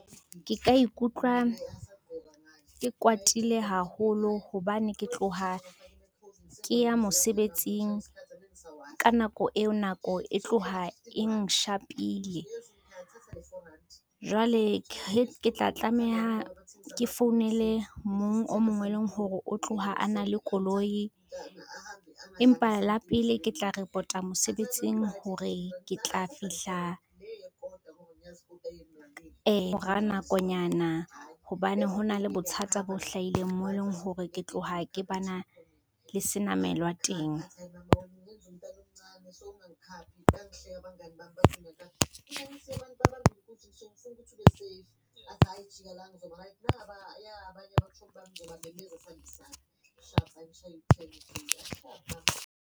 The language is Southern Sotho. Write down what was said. Ke ka ikutlwa, ke kwatile haholo hobane ke tloha ke ya mosebetsing, ka nako eo nako e tloha e nshapile. Jwale ke tla tlameha ke founele mong o mongwe e leng hore o tloha a na le koloi, empa la pele ke tla report-a mosebetsing hore ke tla fihla, ka mora nakonyana hobane ho na le bothata bo hlahileng moo e leng hore ke tloha ke ba na le senamelwa teng.